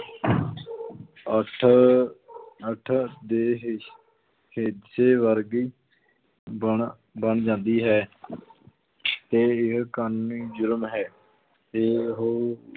ਅੱਠ ਅੱਠ ਦੇ ਹਿ~ ਹਿੱਸੇ ਵਰਗੀ ਬਣ ਬਣ ਜਾਂਦੀ ਹੈ ਤੇ ਇਹ ਕਾਨੂੰਨੀ ਜ਼ੁਲਮ ਹੈ, ਤੇ ਉਹ